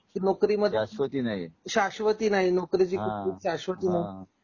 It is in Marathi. नोकरी मध्ये शाश्वती नाही आ शाश्वती नाही नोकरी ची शाश्वती नाही हां हां